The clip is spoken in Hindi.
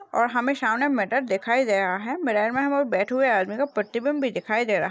और हमे सामने मिरर दिखाई दे रहा है मिरर में हमे बैठे हुए आदमी का प्रतिबिम्ब भी दिखाई दे रहा है।